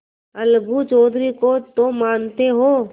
अलगू चौधरी को तो मानते हो